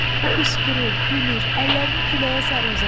O qışqırır, gülür, əllərini küləyə sarı uzadır.